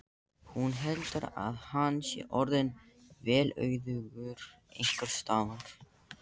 Sá var Þorsteinn Sæmundsson stjarnfræðingur, einn af liðsoddum Varins lands.